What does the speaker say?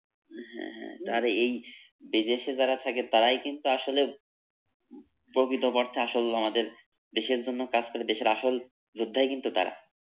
হ্যাঁ হ্যাঁ তার এই বিদেশে যারা থাকে তারাই কিন্তু আসলে প্রকৃত অর্থে আসল আমাদের দেশের জন্য কাজ করে দেশের আসল যোদ্ধাই কিন্তু তারা।